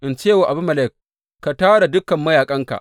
In ce wa Abimelek, Ka tara dukan mayaƙanka!’